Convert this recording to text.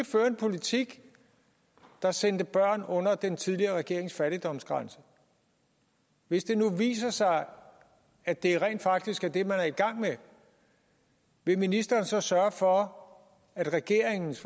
føre en politik der sendte børn under den tidligere regerings fattigdomsgrænse hvis det nu viser sig at det rent faktisk er det man er i gang med vil ministeren så sørge for at regeringens